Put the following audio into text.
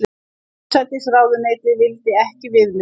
Forsætisráðuneytið vildi ekki viðmið